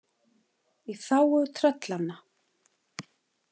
Í þágu tröllanna.